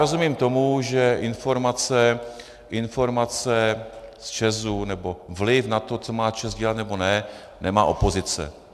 Rozumím tomu, že informace z ČEZu nebo vliv na to, co má ČEZ dělat, nebo ne, nemá opozice.